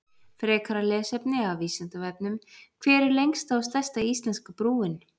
Frekara lesefni af Vísindavefnum: Hver er lengsta og stærsta íslenska brúin?